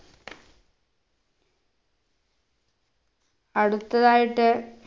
അടുത്തതായിട്ട്